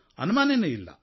ಅನುಮಾನವೇ ಇಲ್ಲ